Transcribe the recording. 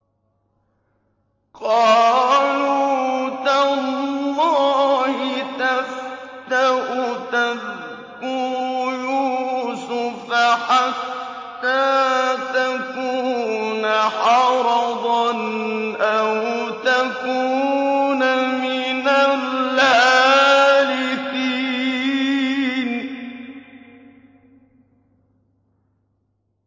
قَالُوا تَاللَّهِ تَفْتَأُ تَذْكُرُ يُوسُفَ حَتَّىٰ تَكُونَ حَرَضًا أَوْ تَكُونَ مِنَ الْهَالِكِينَ